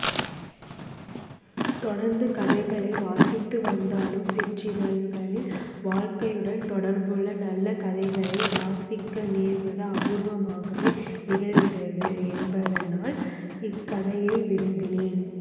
தொடர்ந்து கதைகளை வாசித்துவந்தாலும் சிற்றிதழ்களில் வாழ்க்கையுடன் தொடர்புள்ள நல்ல கதைகளை வாசிக்கநேர்வது அபூர்வமாகவே நிகழ்கிறது என்பதனால் இக்கதையை விரும்பினேன்